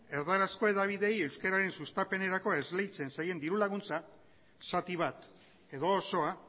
erdarazko hedabideei euskeraren sustapenerako esleitzen zaien diru laguntza zati bat edo osoa